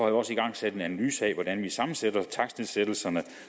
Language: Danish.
jeg også igangsat en analyse af hvordan vi sammensætter takstnedsættelserne